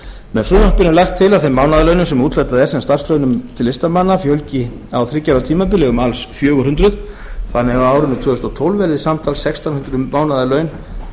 með frumvarpinu er lagt til að þeim mánaðarlaunum sem úthlutað er sem starfslaunum til listamanna fjölgi á þriggja ára tímabili um alls fjögur hundruð þannig að á árinu tvö þúsund og tólf verði samtals sextán hundruð mánaðarlaun